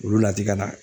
Olu latiŋaina